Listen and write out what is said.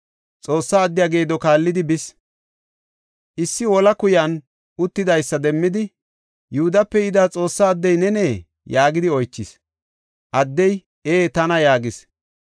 Xoossa addiya geedo kaallidi bis. Issi wolaa kuyan uttidaysa demmidi, “Yihudape yida Xoossa addey nenee?” yaagidi oychis. Addey, “Ee tana” yaagis.